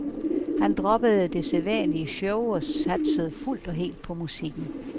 Han droppede det sædvanlige show og satsede fuldt og helt på musikken.